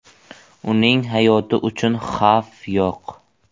Uning hayoti uchun xavf yo‘q.